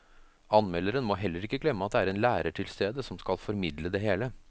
Anmelderen må heller ikke glemme at det er en lærer til stede som skal formidle det hele.